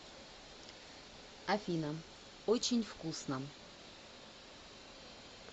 афина очень вкусно